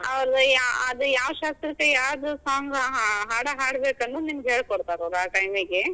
ಆದ್ ಯಾವ ಶಾಸ್ತ್ರಕ್ ಯಾವ್ದ್ song ಹಾಡಾ ಹಾಡ್ ಬೇಕನ್ನೋದ್ ನಿಮ್ಗ್ ಹೇಳ್ ಕೊಡ್ತಾರ ಆ time ಗೆ.